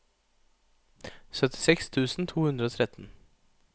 syttiseks tusen to hundre og tretten